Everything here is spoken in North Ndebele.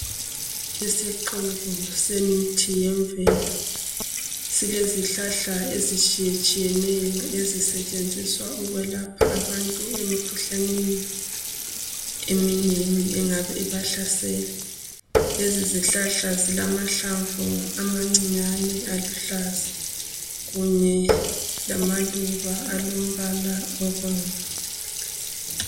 Isixuku semithi yemvelo, silezihlahla ezitshiyetshiyeneyo ezincedisa ukwelapha abantu emikhuhlaneni engabe ibahlesela. Lezi zihlahla zilamahlamvu abancinyane aluhlaza kunye lamaluba alombala obomvu.